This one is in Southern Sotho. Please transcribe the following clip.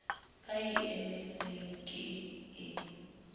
ba e emetseng ke e